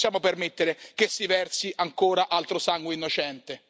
Non possiamo permettere che si versi ancora altro sangue innocente.